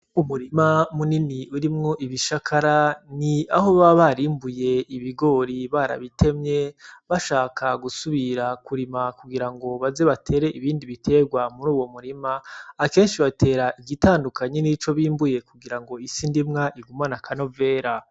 Umurima munini urimwo ibishakara ni aho baba barimbuye ibigori barabitemye bashaka gusubira kurima ngo baze batere ibindi biterwa muri uwo murima akenshi batera igitandukanye nico bimbuye kugira ngo isi ndimwa igumane akanovera